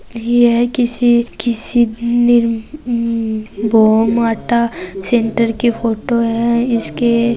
ये किसी किसी के फोटो है इसके --